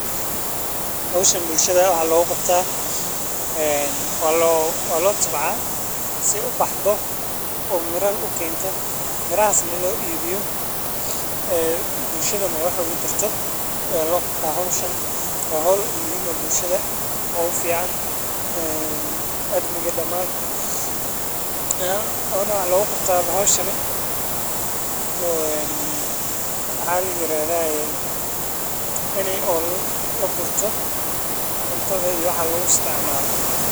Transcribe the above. Howshan bulshada waxa loga qabta waa loo tabcaa si ay u baxdo oo miro u kento yaryar ay u baxdo oo miro wanaagsan u dhaliso, waxaa muhiim ah in la helo dhowr arrimood oo sal u ah koboca ganacsiga:Marka hore, waa in lagu beeraa meel sax ah – taasoo ah meel dadku ku badan yihiin ama socodka lugeeya uu joogto yahay.